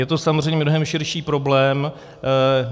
Je to samozřejmě mnohem širší problém.